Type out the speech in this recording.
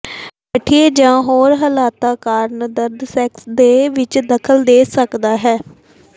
ਗਠੀਏ ਜਾਂ ਹੋਰ ਹਾਲਤਾਂ ਕਾਰਨ ਦਰਦ ਸੈਕਸ ਦੇ ਵਿਚ ਦਖ਼ਲ ਦੇ ਸਕਦਾ ਹੈ